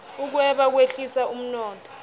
ukweba kwehlisa umnotho